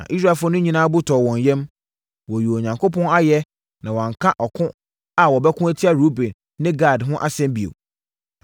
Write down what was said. Na Israelfoɔ no nyinaa bo tɔɔ wɔn yam, wɔyii Onyankopɔn ayɛ na wɔanka ɔko a wɔbɛko atia Ruben ne Gad ho asɛm bio.